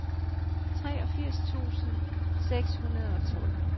treogfirs tusind seks hundrede og tolv